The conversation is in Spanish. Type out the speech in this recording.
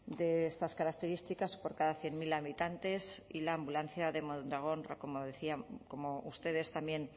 de estas características por cada cien mil habitantes y la ambulancia de mondragón como ustedes también